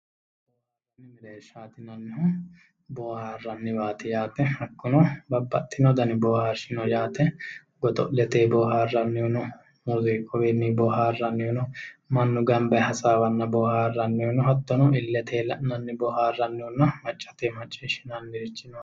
booharanni mereershaati yinannihu booharanni waati yaate hakunno babaxino Dani boohssrishi no yaate godo'letenni booarannihuno muziqunni booharannihu no mannu ganba yee hasaawanna booharannihu no hattono iletenni la'nanni booharannihu no macatenni maciishinanni booharannihu no